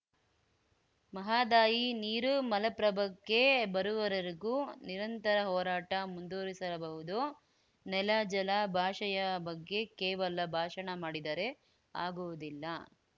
ಮಹಾದಾಯಿ ನೀರು ಮಲಪ್ರಭಕ್ಕೆ ಬರುವವರೆಗೂ ನಿರಂತರ ಹೋರಾಟ ಮುಂದುವರೆಸಲಾಬಹುದು ನೆಲ ಜಲ ಭಾಷೆಯ ಬಗ್ಗೆ ಕೇವಲ ಭಾಷಣ ಮಾಡಿದರೆ ಆಗುವುದಿಲ್ಲ